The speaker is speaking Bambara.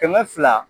Kɛmɛ fila